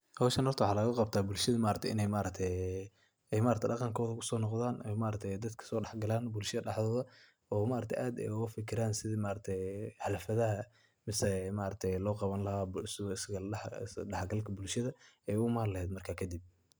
Hoshan horta waxa lagaqabta bulshadha inay daqankodha ugasonoqdan, dadka sodax galan bulshadha daxdodha, ooa ad ay ugufikiran sidhi xalfadaha mise loqabani lahay isdaxgalka bulshadha ay uimani laheed markas kadiib.